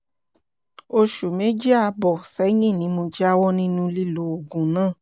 oṣù méjì ààbọ̀ sẹ́yìn ni mo jáwọ́ nínú lílo oògùn náà